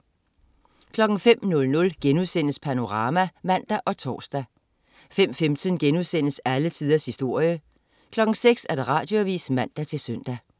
05.00 Panorama* (man og tors) 05.15 Alle tiders historie* 06.00 Radioavis (man-søn)